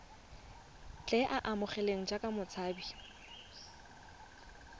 tle a amogelwe jaaka motshabi